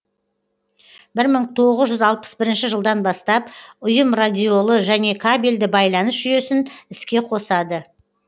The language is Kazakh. бір мың тоғыз жүз алпыс бірінші жылдан бастап ұйым радиолі және кабельді байланыс жүйесін іске қосады